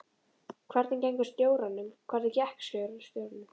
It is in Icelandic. Hvernig gengur stjóranum: Hvernig gekk stjóranum?